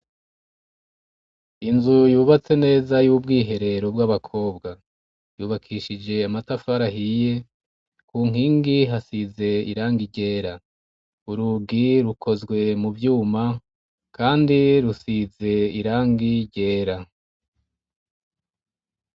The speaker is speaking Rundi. Inzu yubatse neza y'ubwiherero bw'abakobwa. Yubakishije amatafari ahiye, ku nkingi hasize irangi ryera. Urugi rukozwe mu vyuma kandi rusize irangi ryera.